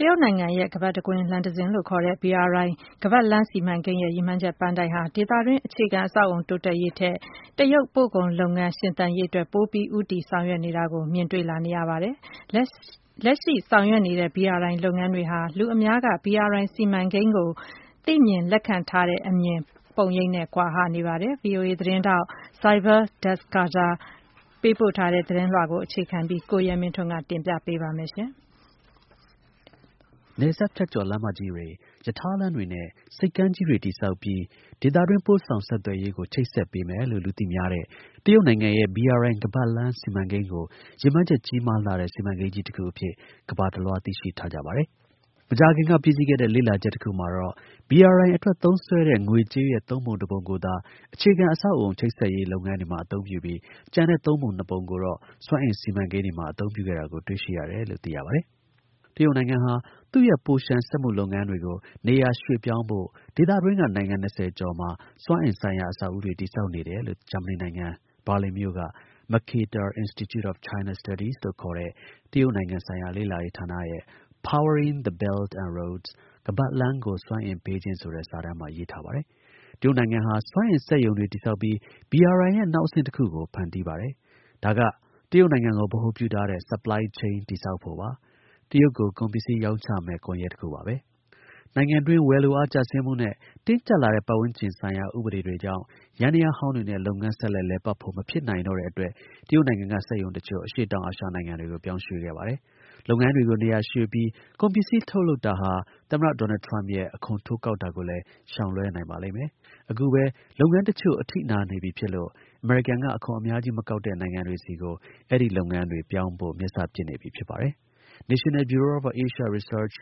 တရုတ်နိုင်ငံရဲ့ ရပ်ဝန်းတစ်ခု လမ်းတစ်ခုလို့ ခေါ်တဲ့ BRI ခါးပတ်လမ်းစီမံကိန်းရဲ့ ရည်မှန်းချက်ပန်းတိုင်ဟာ ဒေသတွင်း အခြေခံ အဆောက်အအုံ တိုးတက်ရေးထက် တရုတ် ပို့ကုန်လုပ်ငန်း ရှင်သန်ရေးအတွက် ပိုပြီး ဦးတည်ဆောင်ရွက်နေတာကို မြင်တွေ့လာ နေရပါတယ်။ လက်ရှိ ဆောင်ရွက်နေတဲ့ BRI လုပ်ငန်းတွေဟာ လူအများက BRI စီမံကိန်းကို သိမြင်လက်ခံထားတဲ့အမြင်ပုံရိပ်နဲ့ ကွာဟ နေပါတယ်။ VOA သတင်းထောက် Saibal Dasgupta ပေးပို့ထားတဲ့သတင်းကို အခြေခံပြီး ကိုရဲမင်းထွန်းက တင်ပြပေးပါမယ်။ နယ်စပ်ဖြတ်ကျော် လမ်းမကြီးတွေ၊ ရထားလမ်းတွေနဲ့ ဆိပ်ကမ်းကြီးတွေ တည်ဆောက်ပြီး ဒေသတွင်း ပို့ဆောင်ဆက်သွယ်ရေးကို ချိတ်ဆက် ပေးမယ်လို့ လူသိများတဲ့ တရုတ်နိုင်ငံရဲ့ BRI ခါးပတ်လမ်းစီမံကိန်းကို ရည်မှန်းချက် ကြီးမားလှတဲ့ စီမံကိန်းကြီးတခုအဖြစ် ကမ္ဘာတစ်လွှား သိရှိထားကြပါတယ်။ မကြာခင်က ပြီးစီးခဲ့တဲ့ လေ့လာချက်တစ်ခုမှာတော့ BRI အတွက် သုံးစွဲတဲ့ ငွေကြေးရဲ့ ၃ ပုံ ၁ ပုံကိုသာ အခြေခံ အဆောက်အအုံ ချိတ်ဆက်ရေးလုပ်ငန်းတွေမှာ အသုံးပြုပြီး ကျန်တဲ့ ၃ ပုံ ၂ ပုံကိုတော့ စွမ်းအင် စီမံကိန်းတွေမှာ အသုံးပြုခဲ့တာကို တွေ့ရှိခဲပါတယ်။ တရုတ်နိုင်ငံဟာ သူ့ရဲ့ ပိုလျှံစက်မှုလုပ်ငန်းတွေကို နေရာရွှေ့ပြောင်းဖို့ ဒေသတွင်းက နိုင်ငံ၂၀ကျော်မှာစွမ်းအင်ဆိုင်ရာ အဆောက်အဦးတွေ တည်ဆောက်ခဲ့တယ်လို့ ဂျာမနီနိုင်ငံ ဘာလင်မြို့က Mercator Institute of China Studies လို့ခေါ်တဲ့ တရုတ်ဆိုင်ရာ လေ့လာရေးဌာနရဲ့ Powering the Belt and Roads ခါးပတ်လမ်းကို စွမ်းအင်ပေးခြင်းဆိုတဲ့ စာတမ်းမှာ ရေးထားပါတယ်။ တရုတ်နိုင်ငံဟာ စွမ်းအင် စက်ရုံတွေ ဆောက်ပြီး BRI ရဲ့ နောက်အဆင့်တစ်ခုကို ဖန်တီးပါတယ်။ ဒါက တရုတ်နိုင်ငံကို ဗဟိုပြုထားတဲ့ supply chain တည်ဆောက်ဖို့ပါ။ တရုတ်ကို ကုန်ပစ္စည်း ရောင်းချမယ့် ကွန်ရက်တစ်ခုပါ။ နိုင်ငံတွင်း ဝယ်လိုအား ကျဆင်းမှုနဲ့ တင်းကျပ်လာတဲ့ ပတ်ဝန်းကျင်ဆိုင်ရာ ဥပဒေတွေကြောင့် စက်ယန္တရားဟောင်းတွေနဲ့ လုပ်ငန်း ဆက်လက် လည်ပတ်ဖို့ မဖြစ်နိုင်တော့တဲ့အတွက် တရုတ်နိုင်ငံက စက်ရုံတစ်ချို့ အရှေ့တောင် အာရှနိုင်ငံတွေကို ပြောင်းရွှေ့ခဲ့ပါတယ်။ လုပ်ငန်းတွေ ကို နေရာရွှေ့ပြီး ကုန်ပစ္စည်း ထုတ်လုပ်တာဟာ သမ္မတ ဒေါ်နယ် ထရမ့်ရဲ့ အခွန်တိုးကောက်တာကိုလည်း ရှောင်လွဲနိုင်ပါလိမ့်မယ်။ အခုပဲလုပ်ငန်း တစ်ချို့ အထိနာနေပြီဖြစ်လို့ အမေရိကန်က အခွန်အများကြီး မကောက်တဲ့ နိုင်ငံတွေဆီကို အဲဒီ လုပ်ငန်းတွေ ပြောင်းဖို့ မျက်စပစ်ပြီ ဖြစ်ပါတယ်။ National Bureau of Asian Research